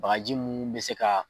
Bagaji mun bɛ se ka.